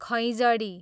खैँजडी